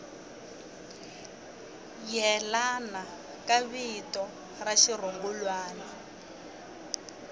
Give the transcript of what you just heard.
yelana ka vito ra xirungulwana